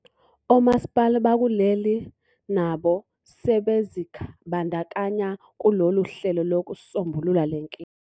Omasipala bakuleli nabo sebezibandakanye kulolu hlelo lokusombulula lenkinga.